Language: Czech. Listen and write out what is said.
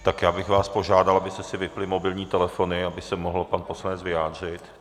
Tak já bych vás požádal, abyste si vypnuli mobilní telefony, aby se mohl pan poslanec vyjádřit.